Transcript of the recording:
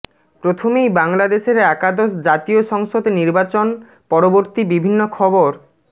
প্রথমেই বাংলাদেশের একাদশ জাতীয় সংসদ নির্বাচন পরবর্তী বিভিন্ন খবর